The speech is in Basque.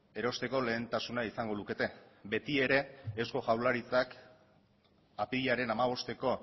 erosteko lehentasuna izango lukete beti ere eusko jaurlaritzak apirilaren hamabosteko